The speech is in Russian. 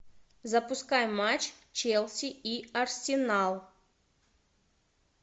запускай матч челси и арсенал